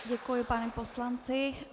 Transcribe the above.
Děkuji panu poslanci.